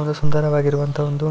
ಒಂದು ಸುಂದರವಾಗಿರುವಂತಹ ಒಂದು